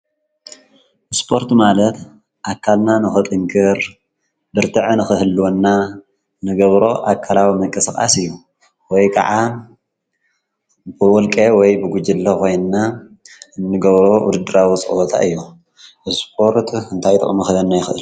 እስጶርት ማለት ኣካልና ንኸጥንክር ብርትዕን ኽህልወና ንገብሮ ኣካላዊ መንቀሥቓስ እዩ። ወይ ከዓ ብወልቄ ወይ ብጕጅለ ኾይንና ንገብሮ ውድድራዊ ፅወታ እዮም። እስጶርት እንታይ ጥቕሚ ኽበህና ይኽእል።